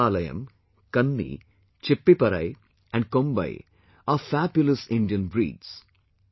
Rajapalayam, Kanni, Chippiparai and Kombai are fabulous Indian breeds